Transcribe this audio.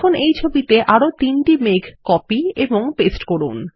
এখন এই ছবিতে আরো তিনটি মেঘ কপি এবং পেস্ট করুন